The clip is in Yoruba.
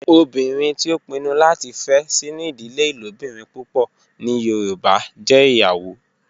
Obinrin ti o pinnu lati fe sinu idile ilobirin pupọ ni yoruba jẹ iyawo